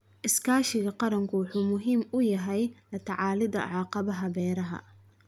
Iskaashiga qaranku wuxuu muhiim u yahay la tacaalidda caqabadaha beeraha.